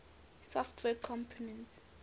software components